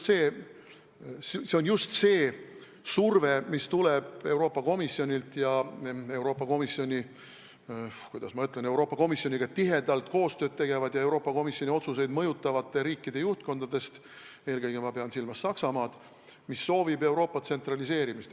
See on just see surve, mis tuleb Euroopa Komisjonilt ja Euroopa Komisjoniga tihedalt koostööd tegevate ja Euroopa Komisjoni otsuseid mõjutavate riikide juhtkondadest, eelkõige pean ma silmas Saksamaad, mis soovib Euroopa tsentraliseerimist.